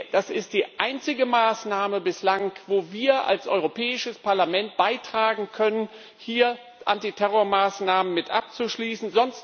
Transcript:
Das ist die einzige Maßnahme bislang, wo wir als Europäisches Parlament dazu beitragen können, hier Antiterrormaßnahmen mit abzuschließen.